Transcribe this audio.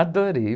Adorei.